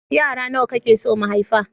Yara nawa kake so mu haifa?